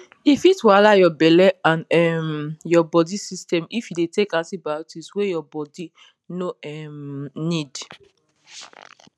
e fit wahala your belle and um your body system if you dey take antibiotics wey your bodi no um need